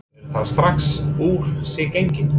Eru þau strax úr sér gengin?